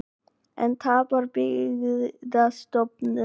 Enn tapar Byggðastofnun